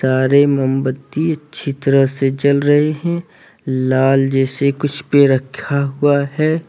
सारे मोमबत्ती अच्छी तरह से जल रहे हैं लाल जैसे कुछ भी रखा हुआ है।